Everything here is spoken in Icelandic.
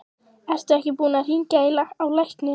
Ertu ekki búinn að hringja á lækni?